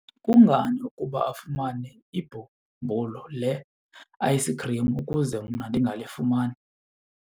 Kungani ukuba afumane ibhumbulu le-ayisikhrim ukuze mna ndingalifumani?